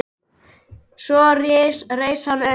Svo reis hann upp.